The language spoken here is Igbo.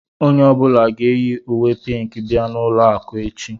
Onye ọ bụla ga-eyi uwé pínkì bia n'ụlọ akụ echi